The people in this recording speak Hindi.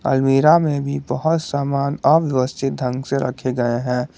अलमीरा मे भी बहुत सामान अव्यवस्थित ढंग से रखे गए है।